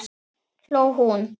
hló hún.